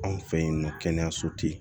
Anw fɛ yen nɔ kɛnɛyaso tɛ yen